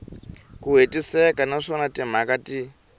ku hetiseka naswona timhaka ti